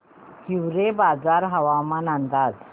हिवरेबाजार हवामान अंदाज